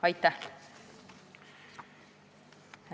Aitäh!